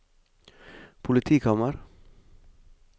politikammer